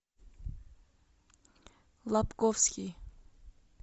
лабковский